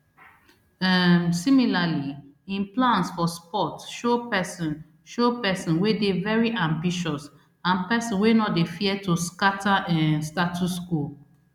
um similarly im plans for sport show pesin show pesin wey dey very ambitious and pesin wey no dey fear to scata um status quo